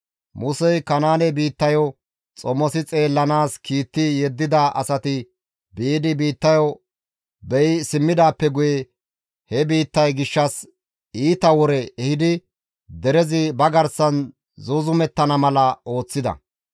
Musey Kanaane biittayo xomosi xeellanaas kiitti yeddida asati biidi biittayo beyi simmidaappe guye he biittay gishshas iita wore ehidi derezi ba garsan zuuzumettana mala ooththida.